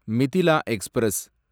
Mithila express